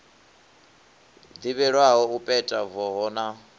ḓivhelwaho u peta voho na